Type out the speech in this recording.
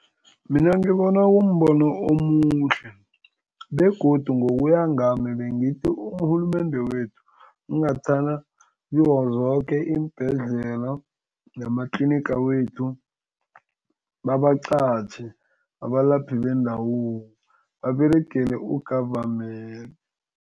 Mina ngibona kumbono omuhle begodu ngokuya ngami, bengithi urhulumende wethu ingathana kizo zoke iimbhedlela nematliniga wethu babaqatjhe abalaphi bendabuko baberegele u-goverment.